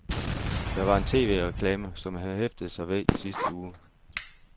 Der var en tv-reklame, som han hæftede mig ved i sidste uge.